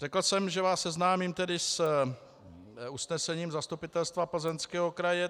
Řekl jsem, že vás seznámím tedy s usnesením Zastupitelstva Plzeňského kraje.